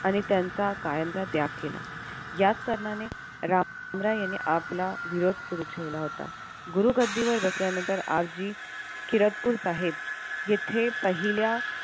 आणि त्यांचा कायमचा त्याग केला. याच कारणाने रामराय यांनी आपला विरोध सुरु ठेवला होता. गुरु गद्दीवर बसल्यानंतर किरदपूर साहेब येथे पहिल्या